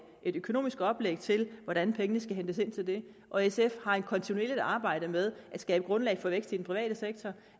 et økonomisk oplæg til hvordan pengene skal hentes ind til det og sf har et kontinuerligt arbejde med at skabe grundlag for vækst i den private sektor